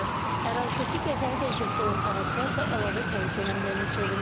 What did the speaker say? Ərazidəki qəzalı vəziyyətdə olan ağaclar da əlavə təhlükə mənbəyinə çevrilib.